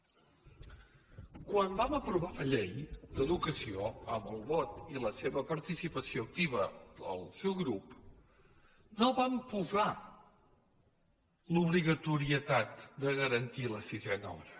quan vam aprovar la llei d’educació amb el vot i la seva aportació activa del seu grup no vam posar l’obligatorietat de garantir la sisena hora